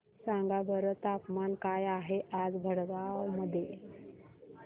सांगा बरं तापमान काय आहे आज भडगांव मध्ये